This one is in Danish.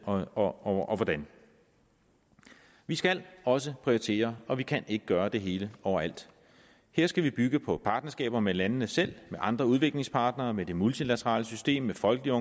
og og hvordan vi skal også prioritere og vi kan ikke gøre det hele overalt her skal vi bygge på partnerskaber med landene selv med andre udviklingspartnere med det multilaterale system med folkelige